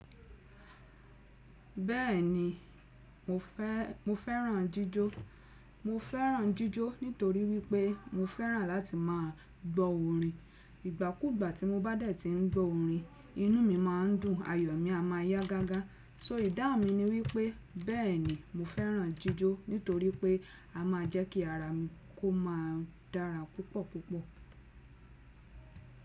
Bẹ́ẹ̀ni mo fẹ́, mo fẹ́ràn jíjó. Mo fẹ́ràn jíjó nítorí wípé mo fẹ́ràn láti má a gbọ́ orin. Ìgbàkúgbà tí mo bá dẹ̀ tí ń gbọ́ orin, inú mi má a ń dùn, ayọ̀ mi a má a yá gágá. So ìdáhùn mi ni wípé bẹ́ẹ̀ni mo fẹ́ràn jíjó nítorí pé a má a jẹ́ kí ara mi kó má a dára púpọ̀ púpọ̀.